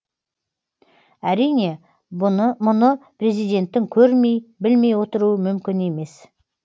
әрине мұны президенттің көрмей білмей отыруы мүмкін емес